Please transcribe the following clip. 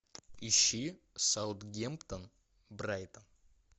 ищи саутгемптон брайтон